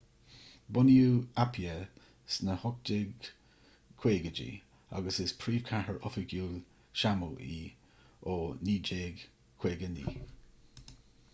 bunaíodh apia sna 1850idí agus is príomhchathair oifigiúil shamó í ó 1959